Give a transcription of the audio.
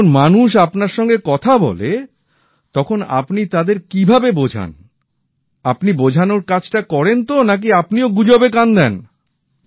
যখন মানুষ আপনার সঙ্গে কথা বলে তখন আপনি তাদের কিভাবে বোঝান আপনি বোঝানোর কাজটা করেন তো নাকি আপনিও গুজবে কান দেন